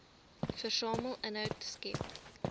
versamel inhoud skep